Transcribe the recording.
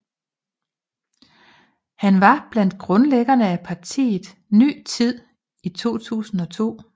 Han var blandt grundlæggerne af partiet Ny Tid i 2002